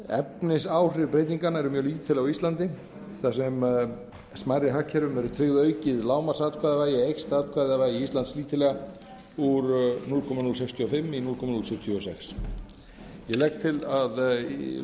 efnisáhrif breytinganna eru mjög lítil á íslandi þar sem smærri hagkerfum verður tryggt aukið lágmarksatkvæðavægi eykst atkvæðavægi íslands lítillega úr núll komma núll sextíu og fimm í núll komma núll sjötíu og sex ég legg til að að